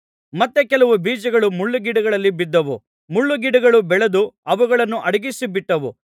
ಮತ್ತೆ ಕೆಲವು ಬೀಜಗಳು ಮುಳ್ಳುಗಿಡಗಳಲ್ಲಿ ಬಿದ್ದವು ಮುಳ್ಳುಗಿಡಗಳು ಬೆಳೆದು ಅವುಗಳನ್ನು ಅಡಗಿಸಿಬಿಟ್ಟವು